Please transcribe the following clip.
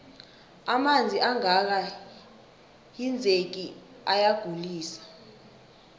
amanzi angaka hinzeki ayagulise